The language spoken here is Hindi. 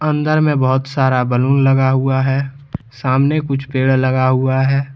अंदर में बहोत सारा बलून लगा हुआ है सामने कुछ पेड़ लगा हुआ है।